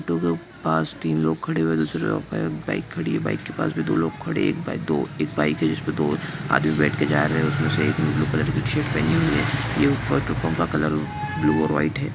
Auto के पास तीन लोग खड़े हुए हैं दूसरे रोड पे बाइक खड़ी हुई हैं बाइक के पास भी दो लोग खड़े हैं एक दो एक बाइक हैं जिसमे दो आदमी बेठ के जा रहे हैंउसमे से एक ने ब्लू कलर की शर्ट पहनी हुई है यह ऊपर जो पंप का कलर ब्लू और वाइट हैं।